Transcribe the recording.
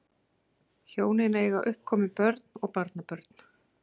Hjónin eiga uppkomin börn og barnabörn